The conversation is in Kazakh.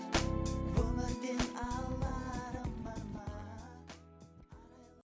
өмірден аларым бар ма